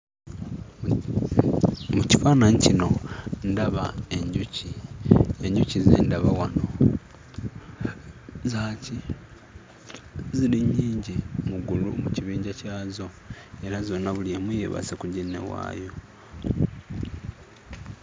Mu kifaananyi kino ndaba enjuki. Enjuki ze ndaba wano za ki ziri nnyingi mu gulupu mu kibinja kyazo era zonna buli emu yeebase ku ginne waayo.